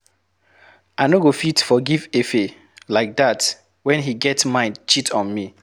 I no go fit forgive Efe like dat wen he get mind cheat on me.